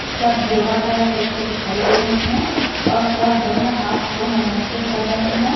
सब योगा कर रहे है जैसे दिखाई दे रहे है और सब दोनों हाथ को नमस्ते कर रहे है।